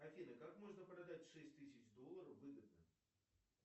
афина как можно продать шесть тысяч долларов выгодно